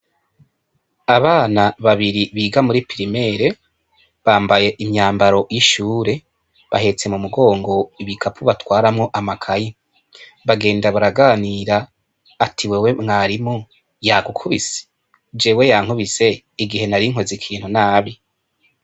Abana babiri biga muri pirimeri, bambaye umwambaro w'ishure, bahetse mumugongo ibikapo batwaramwo amakaye, bagenda baraganira ati:"Wewe, mwarimu yagukubise?"Jewe yakubise, igihe nari nkoze ikintu nabi.